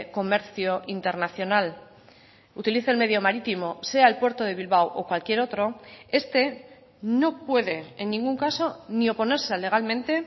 comercio internacional utilice el medio marítimo sea el puerto de bilbao o cualquier otro este no puede en ningún caso ni oponerse legalmente